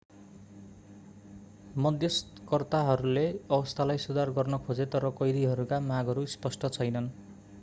मध्यस्तकर्ताहरूले अवस्थालाई सुधार गर्न खोजे तर कैदीहरूका मागहरू स्पष्ट छैनन्